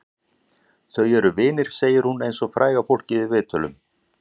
Þau eru vinir, segir hún eins og fræga fólkið í viðtölum.